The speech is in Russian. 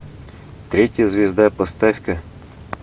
третья звезда поставь ка